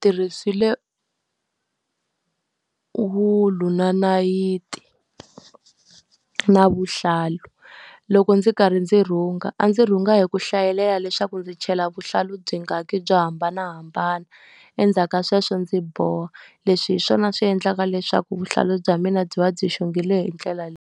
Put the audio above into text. Tirhisile wulu na nayiti na vuhlalu. Loko ndzi karhi ndzi rhunga a ndzi rhunga hi ku hlayelela leswaku ndzi chela vuhlalu byingani byo hambanahambana. Endzhaku ka sweswo ndzi boha. Leswi hi swona swi endlaka leswaku vuhlalu bya mina byi va byi xongile hi ndlela leyi.